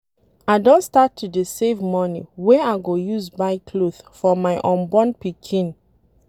I don start to dey save money wey I go use buy cloth for my unborn pikin